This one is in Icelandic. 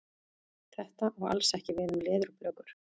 Þetta á alls ekki við um leðurblökur.